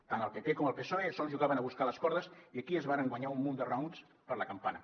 tant el pp com el psoe sols jugaven a buscar les cordes i aquí es varen guanyar un munt de raons per la campana